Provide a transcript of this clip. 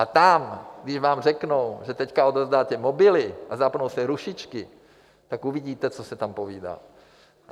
A tam, když vám řeknou, že teď odevzdáte mobily a zapnou se rušičky, tak uvidíte, co se tam povídá.